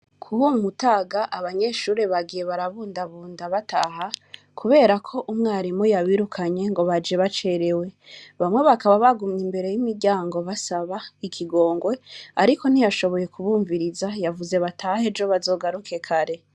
Kubo mu mutaga abanyeshure bagiye barabundabunda bataha, kubera ko umwarimu yabirukanye ngo baje bacerewe. Bamwe bakaba bagumye imbere y'Imiryango basaba ikigongwe, ariko ntiyashoboye kubumviriza yavuze ngo batahe ejo bazogaruke kare.